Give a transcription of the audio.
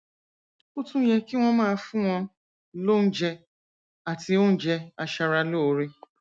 ó tún yẹ kí wọn máa fún wọn lóúnjẹ àti oúnjẹ aṣaralóore